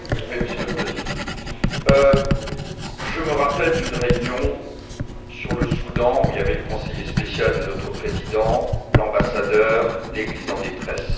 Monsieur le Président, je me rappelle d'une réunion sur le Soudan où il y avait le conseiller spécial de notre Président, l'ambassadeur et l'Église en détresse.